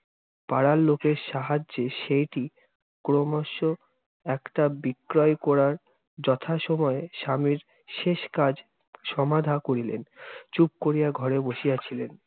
পাড়ার লোকের সাহায্যে, সেটি ক্রমশ্য একটা বিক্রয় করার যথাসময় স্বামীর শেষ কাজ সমাধা করিলেন। চুপ করিয়া ঘরে বসিয়া ছিলেন,